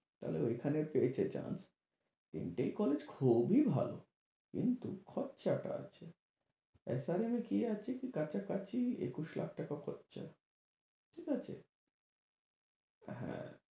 তাহলে ঐখানে পেয়েছে chance । তিনটেই college খুবই ভালো কিন্তু খরচাটা আছে। SRM এ কি আছে কি কাছাকাছি একুশ লাখ টাকা খরচা, ঠিক আছে? হ্যাঁ।